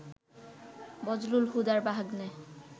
বজলুল হুদার ভাগ্নে